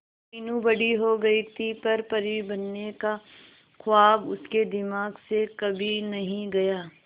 मीनू बड़ी हो गई पर परी बनने का ख्वाब उसके दिमाग से कभी नहीं गया